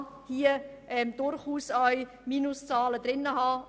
Man kann hier durchaus auch Minuszahlen haben.